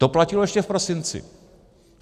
To platilo ještě v prosinci.